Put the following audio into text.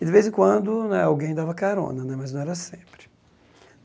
E de vez em quando, né, alguém dava carona, né, mas não era sempre.